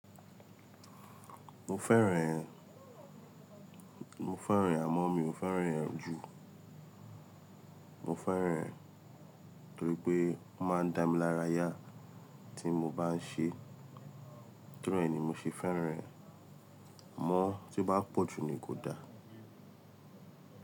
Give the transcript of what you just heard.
Mo fẹ́ràn ẹ̀. Mo fẹ́ràn amo mi o fẹ́ràn rẹ̀ jù. Mo fẹ́ràn ẹ̀ torí pé ó máa ń dá mi lára yà tí mo bá ń ṣe. Torí ẹni mo ṣe fẹ́ràn ẹ̀. Amọ tí ò bá pọ̀ jù ni kò da.